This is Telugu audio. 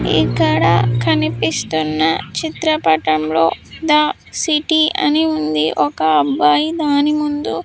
ఇక్కడ కనిపిస్తున్న చిత్రపటంలో ద సిటీ అని ఉంది ఒక అబ్బాయి దాని ముందు.